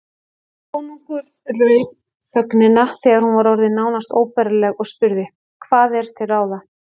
Konungur rauf þögnina þegar hún var orðin nánast óbærileg og spurði:-Hvað er til ráða?